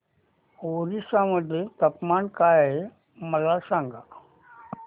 ओरिसा मध्ये तापमान काय आहे मला सांगा